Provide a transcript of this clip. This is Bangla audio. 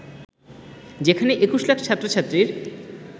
যেখানে ২১ লাখ ছাত্র-ছাত্রীর